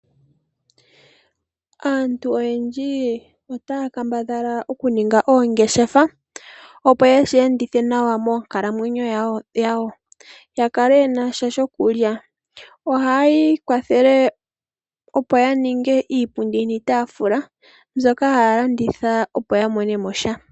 Aantu oyendji otaya kambadhala oku ninga oongeshefa, opo ye shi endithe nawa moonkalamwenyo dhawo, ya kale ye na sha shokulya. Ohaya ikwathele opo ya ninge iipundi niitaafula, mbyoka haya landitha opo ya mone mo sha.